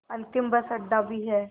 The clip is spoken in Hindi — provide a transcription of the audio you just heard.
अंतिम बस अड्डा भी है